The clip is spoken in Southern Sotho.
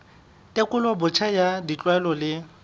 tekolo botjha ya ditlwaelo le